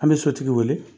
An bɛ sotigi wele